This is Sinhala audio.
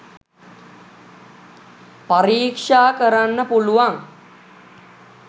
පරික්ෂා කරන්න පුළුවන්.